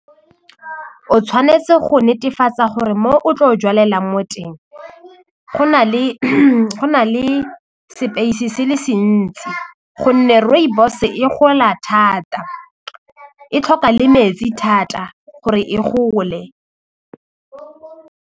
O tshwanetse go netefatsa gore mo o tlo jalelang mo teng go na le go na le space se le se ntsi gonne rooibos e gola thata e tlhoka le metsi thata gore e gole.